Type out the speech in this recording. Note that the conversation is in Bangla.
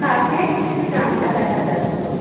কাঁচের কিছু জানলা দেখা যাচ্ছে।